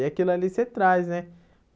E aquilo ali você traz, né?